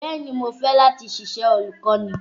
Bẹ́ẹ̀ ni, mo fẹ́ láti ṣiṣẹ́ olùkọ́ni.